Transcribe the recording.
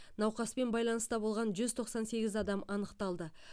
науқаспен байланыста болған жүз тоқсан сегіз адам анықталды